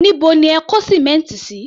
Níbo ni ẹ kó sìmẹ́ǹtì sí?